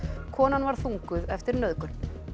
konan varð þunguð eftir nauðgun